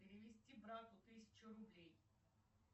перевести брату тысячу рублей